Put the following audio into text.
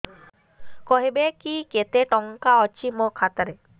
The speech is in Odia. କହିବେକି କେତେ ଟଙ୍କା ଅଛି ମୋ ଖାତା ରେ